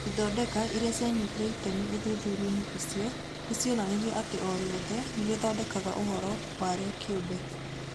Ithondeka iria cianyitire itemi ũthuthuria-inĩ ũcio nĩ cionanirie atĩ o riothe nĩ rĩthondekaga ũhoro warĩo kĩũmbe.